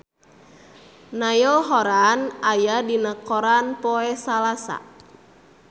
Niall Horran aya dina koran poe Salasa